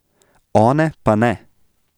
One pa ne.